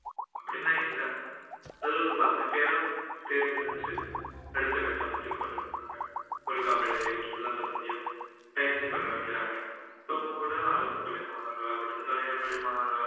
அப்படின்னா இல்லை அது ஒரு பத்துபேரோ தேர்வு செஞ்சு அடுத்த கட்டமத்துக்கு கொண்டு போயிருவாங்க ஒரு கபடிலையோ ஒரு சில்ம்பத்திலையோ பயிற்சி பெற வைக்கிறாங்க இப்போவுங்கூட அரசு பள்ளி மாணவர்களா கூட இருந்தா தனியார் பள்ளி மாணவர்களா